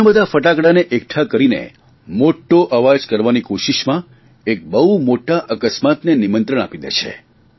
ઘણાબધા ફટાકડાને એકઠા કરીને મોટો અવાજ કરવાની કોશિશમાં એક બહુ મોટા અકસ્માતને નિયંત્રણ આપી દે છે